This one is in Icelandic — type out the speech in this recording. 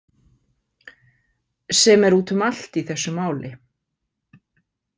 Sem er út um allt í þessu máli.